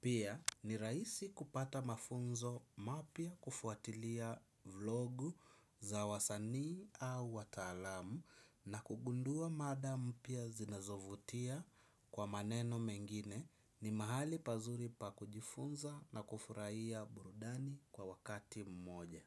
pia ni raisi kupata mafunzo mapya, kufuatilia vlogu za wasanii au watalamu na kugundua madam pia zinazovutia kwa maneno mengine ni mahali pazuri pa kujifunza na kufurahia burudani kwa wakati mmoja.